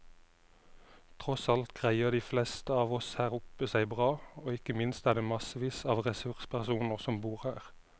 Tross alt greier de fleste av oss her oppe seg bra, og ikke minst er det massevis av ressurspersoner som bor her.